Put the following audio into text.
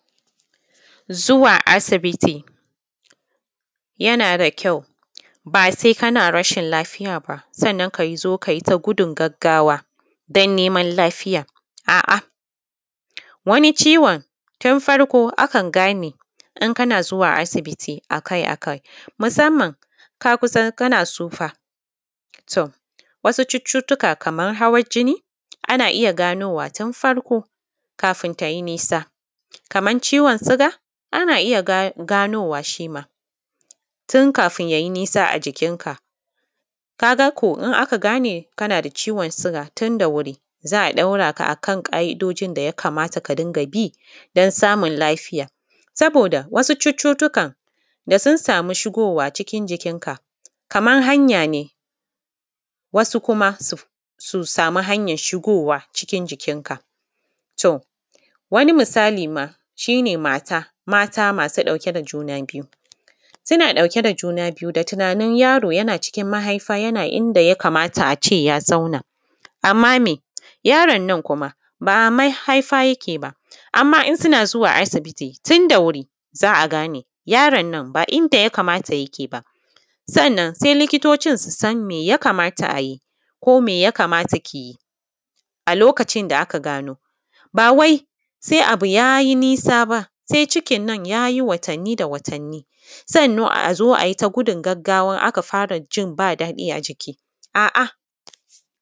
Zuwa asibiti yana da kyau ba sai kana rashin lafiya ba sannan ka zo ka yi ta gudun gaggawa don neman lafiya, a’a. Wani ciwon tun farko akan gane in kana zuwa asibiti akai-akai, musamman in ka san kana tsufa, to, wasu cututtuka kaman hawan jini ana iya ganowa tun farko kafin ta yi nisa, kamar ciwon suga ana iya ganowa shi ma, tun kafin ya yi nisa a jikin ka. Ka ga ko in aka gane kana da ciwon suga tun da wuri za ɗaura ka akan ƙa’idojin da ya kamata ka dinga bi don samun lafiya. Saboda wasu cututtukan da sun samu shigowa cikin jikin kaman hanya ne, wasu kuma su samu hanyan shigowa cikin jikin ka. To, wani misali ma, shi ne mata, mata masu ɗauke da juna biyu, suna ɗauke da juna biyu da tunanin yaro yana cikin mahaifa yana inda ya kamata a ce ya zauna, amma me, yaron nan kuma ba a mahaifa yake ba. Amma in suna zuwa asibiti tun da wuri za a gane, yaron nan ba inda ya kamata yake ba, sannan sai likitocin su san me ya kamata a yi ko me ya kamata ki yi a lokacin da aka gano, ba wai sai abu ya yi nisa ba, sai cikin nan ya yi watanni da watanni, sannan a zo a yi ta gudun gaggawan in aka fara jin ba daɗi a jiki, a’a.